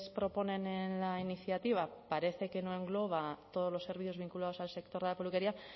proponen en la iniciativa parece que no engloba todos los servicios vinculados al sector de la peluquería